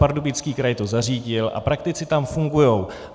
Pardubický kraj to zařídil a praktici tam fungují.